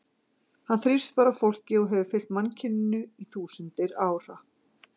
Hann þrífst bara á fólki og hefur fylgt mannkyninu í þúsundir ára.